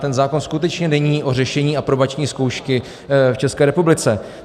Ten zákon skutečně není o řešení aprobační zkoušky v České republice.